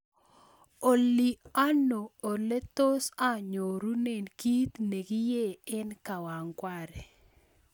Olly ano ole tos anyorunen kit ne kiee en kawangware